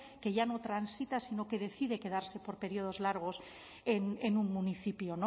que ya no transita sino que decide quedarse por periodos largos en un municipio